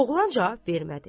Oğlan cavab vermədi.